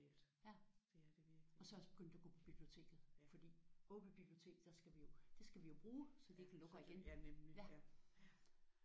Ja og så er jeg også begyndt at gå på biblioteket fordi ovre på biblioteket der skal vi jo det skal vi jo bruge så de ikke lukker igen